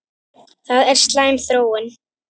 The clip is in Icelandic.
Það er slæm þróun.